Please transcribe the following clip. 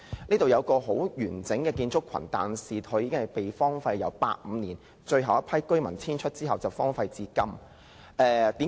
那裏有一個很完整的建築群，但由1985年最後一批居民遷出後便荒廢至今。